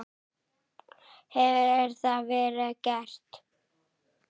Hefur það verið gert?